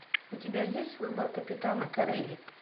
у тебя есть выбор капитана корелли